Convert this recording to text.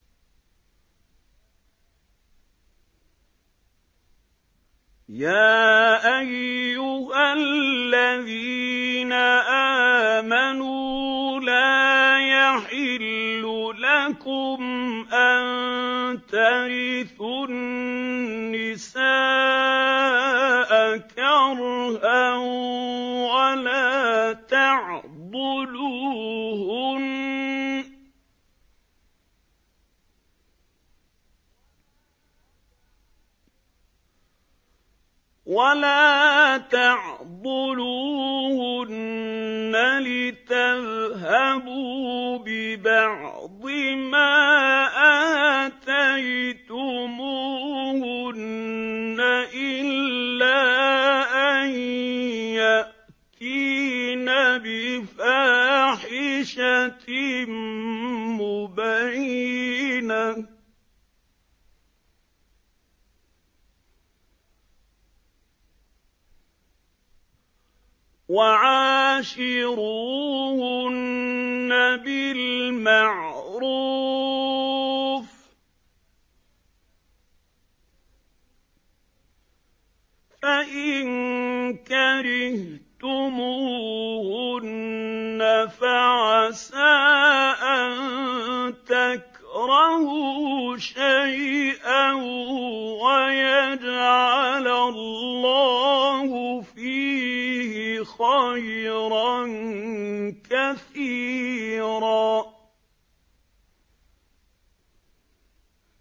يَا أَيُّهَا الَّذِينَ آمَنُوا لَا يَحِلُّ لَكُمْ أَن تَرِثُوا النِّسَاءَ كَرْهًا ۖ وَلَا تَعْضُلُوهُنَّ لِتَذْهَبُوا بِبَعْضِ مَا آتَيْتُمُوهُنَّ إِلَّا أَن يَأْتِينَ بِفَاحِشَةٍ مُّبَيِّنَةٍ ۚ وَعَاشِرُوهُنَّ بِالْمَعْرُوفِ ۚ فَإِن كَرِهْتُمُوهُنَّ فَعَسَىٰ أَن تَكْرَهُوا شَيْئًا وَيَجْعَلَ اللَّهُ فِيهِ خَيْرًا كَثِيرًا